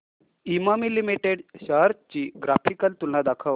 Emami limited shares ची graphical तुलना दाखव